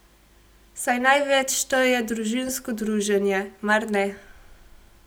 Saj največ šteje družinsko druženje, mar ne?